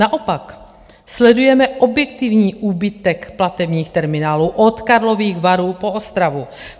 Naopak sledujeme objektivní úbytek platebních terminálů od Karlových Varů po Ostravu.